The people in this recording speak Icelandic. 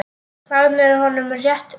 Þarna er honum rétt lýst.